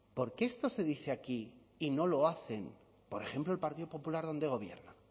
por qué esto se dice aquí y no lo hacen por ejemplo el partido popular dónde gobierna